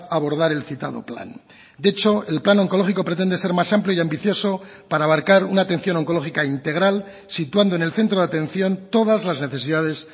a abordar el citado plan de hecho el plan oncológico pretende ser más amplio y ambicioso para abarcar una atención oncológica integral situando en el centro de atención todas las necesidades